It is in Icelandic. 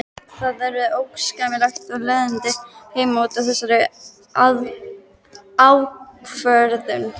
Það urðu óskapleg leiðindi heima út af þessari ákvörðun.